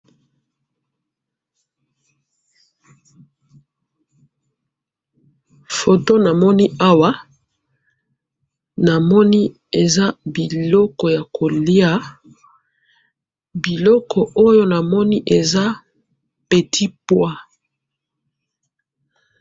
photo namoni awa namoni eza biloko ya koliya ,biloko ya koliya awa eza petit pois